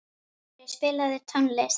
Kári, spilaðu tónlist.